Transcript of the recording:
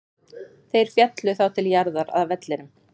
Þeir féllu þá til jarðar, að vellinum.